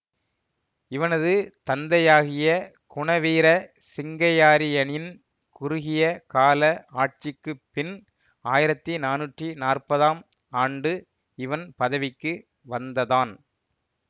இவனது தந்தையாகிய குணவீர சிங்கையாரியனின் குறுகிய கால ஆட்சிக்குப் பின் ஆயிரத்தி நானூற்றி நாற்பதாம் ஆண்டு இவன் பதவிக்கு வந்ததான்